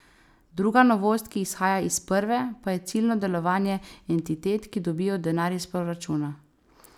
Druga novost, ki izhaja iz prve, pa je ciljno delovanje entitet, ki dobijo denar iz proračuna.